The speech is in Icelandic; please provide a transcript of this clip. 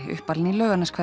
uppalinn í